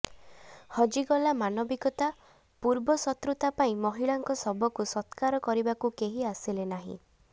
ହଜିଗଲା ମାନବିକତା ପୂର୍ବ ଶତ୍ରୁତା ପାଇଁ ମହିଳାଙ୍କ ଶବକୁ ସତ୍କାର କରିବାକୁ କେହି ଆସିଲେ ନାହିଁ